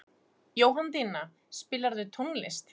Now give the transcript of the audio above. Jóhanndína, spilaðu tónlist.